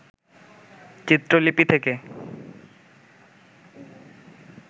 চিত্রলিপি থেকে